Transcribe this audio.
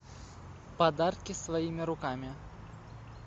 подарки своими руками